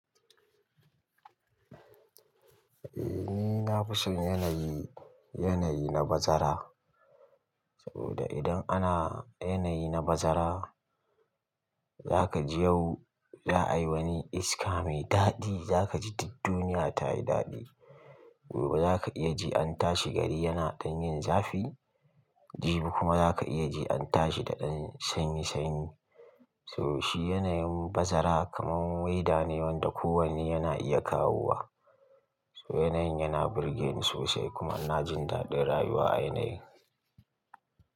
Eh ni nafison yanayi, yanayi na bazara. Saboda idan ana yanayi na bazara, zakaji yau za ayi wani iska mai daɗi, zakaji duk duniya tayi daɗi. Gobe zaka iya ji an tashi gari yana ɗanyin zafi, jibi kuma zaka iya ji an tashi da ɗan sanyi sanyi. So shi yanayin bazara kaman waida ne wanda kowane yana iya kawowa. So yanayin yana burgeni sosai kuma ina jindaɗin rayuwa a yanayi.